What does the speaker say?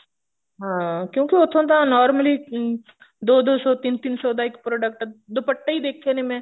ਹਾਂ ਕਿਉਂਕਿ ਉੱਥੋਂ ਤਾਂ normally ਦੋ ਦੋ ਸੋ ਤਿੰਨ ਤਿੰਨ ਸੋ ਦਾ ਇੱਕ product ਦੁਪੱਟੇ ਹੀ ਦੇਖੇ ਨੇ ਮੈਂ